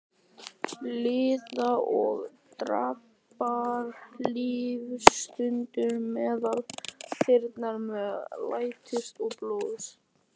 Líða og daprar lífsstundir meðal þyrna sem læsast til blóðs.